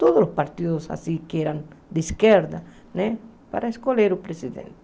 todos os partidos que eram de esquerda né, para escolher o presidente.